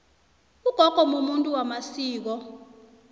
ugogo mumuntu wamasiko